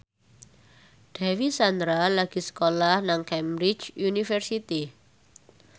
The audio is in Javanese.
Dewi Sandra lagi sekolah nang Cambridge University